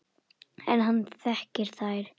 En hann þekkir þær.